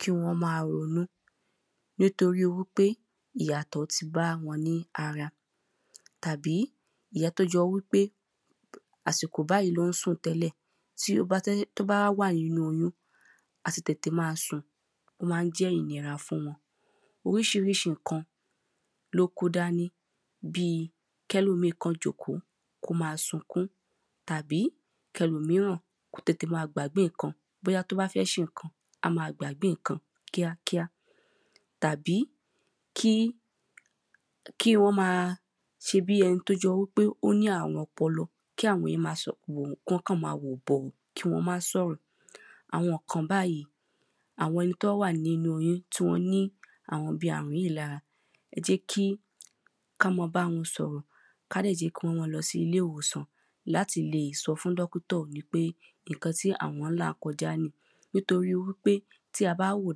kí wọ́n máa ronú nítorí wípé ìyàtọ̀ ti bá wọn ní ara, tàbí ìyẹn tó jẹ́ wípé àsìkò báyìí ni ó ń sùn tẹ́lẹ̀, tí ó bá wà nínu oyún, àti tètè máa sùn, ó máa jẹ́ ìnira fún wọ́n oríṣiríṣi ǹkan ni ó kó dání bíi kí ẹlòmíì kàn jókòó kí ó máa sunkún, tàbí kí ẹlòmíràn kó tètè máa gbàgbé ǹkan bóyá tí ó bá fẹ́ ṣe ǹkan, a máa gbàgbé ǹkan kíákíá tàbí kí wọ́n máa ṣebí ẹni tí ó jọ́ wípé ó ní àrun ọpọlọ, kí àwọn èyàn máa sọ̀rọ̀, kí wọ́n máa wò bọ̀, kí wọ́n má sọ̀rọ̀ àwọn ǹkan báyìí, àwọn ẹni tí wọ́n wà nínu oyún tí wọ́n ní àwọn bíi àrùn yìí lára, ẹ jẹ́ kí a máa bá wọn sọ̀rọ̀, ká dẹ̀ jẹ́ kí wọ́n máa lọ sí ilé-ìwòsàn, láti lè sọ fún dọ́kítọ̀ wípé ǹkan tí àwọn ń là kọjá nìí nítorí wípé tí a bá wòó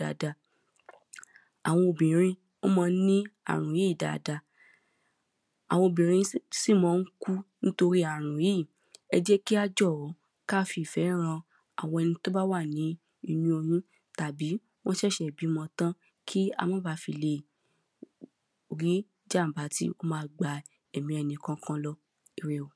dáadáa, àwọn obìnrin wọ́n ma ń ní àrùn yìí dáadáa, àwọn obìnrin sì ma ń kú nítorí àrùn yìí ẹ jẹ́ kí á jọ, kí á fi ìfẹ́ han ẹni tí ó bá wà nínu oyún tàbí ó ṣẹ̀ṣẹ̀ bímọ tán kí á má baà fi lè rí ìjàḿbà tí ó máa gbé ẹ̀mi ẹnìkọkan lọ. Ire o.